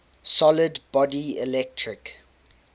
solid body electric